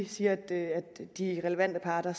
siger at de relevante parter